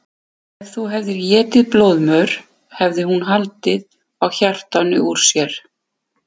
Ef þú hefðir étið blóðmör hefði hún haldið á hjartanu úr sér.